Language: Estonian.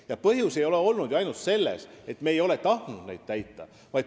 Ja põhjus ei ole ju olnud ainult selles, et me ei ole tahtnud neid täita.